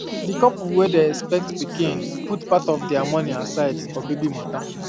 the couple wey dey expect pikin put part of their money aside for baby matter